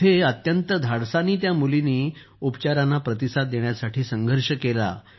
तेथे अत्यंत धाडसानं त्या मुलीनं उपचारांना प्रतिसाद देण्यासाठी संघर्ष केला